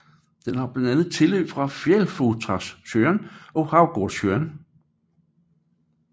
Den har blandt andet tilløb fra Fjällfotasjön og Havgårdssjön